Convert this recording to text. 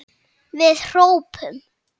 Við hrópum!